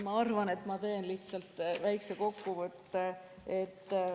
Ma arvan, et ma teen lihtsalt väikese kokkuvõtte.